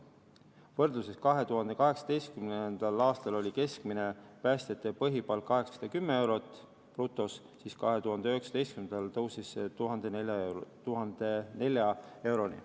Võrdluseks, 2018. aastal oli keskmine päästjate brutopõhipalk 810 eurot, 2019. aastal tõusis see 1004 euroni.